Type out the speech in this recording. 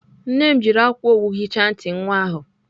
Nne m jiri akwa owu hichaa ntị nwata ahụ.